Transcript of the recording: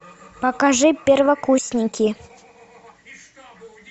покажи первокурсники